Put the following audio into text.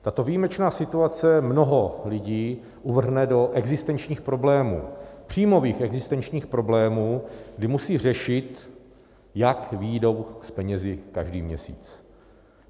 Tato výjimečná situace mnoho lidí uvrhne do existenčních problémů, příjmových existenčních problémů, kdy musí řešit, jak vyjdou s penězi každý měsíc.